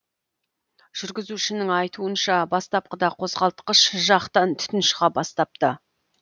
жүргізушінің айтуынша бастапқыда қозғалтқыш жақтан түтін шыға бастапты